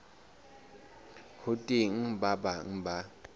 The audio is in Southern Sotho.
ho teng ba bang ba